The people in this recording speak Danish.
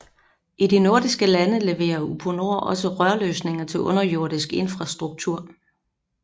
I de nordiske lande leverer Uponor også rørløsninger til underjordisk infrastruktur